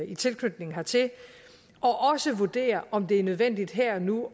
i tilknytning hertil og også vurdere om det er nødvendigt her og nu